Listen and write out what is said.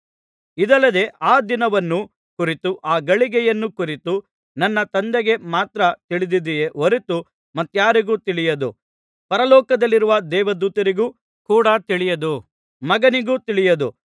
ಇದಲ್ಲದೆ ಆ ದಿನವನ್ನು ಕುರಿತು ಆ ಗಳಿಗೆಯನ್ನು ಕುರಿತು ನನ್ನ ತಂದೆಗೆ ಮಾತ್ರ ತಿಳಿದಿದೆಯೇ ಹೊರತು ಮತ್ತಾರಿಗೂ ತಿಳಿಯದು ಪರಲೋಕದಲ್ಲಿರುವ ದೂತರಿಗೂ ಕೂಡ ತಿಳಿಯದು ಮಗನಿಗೂ ತಿಳಿಯದು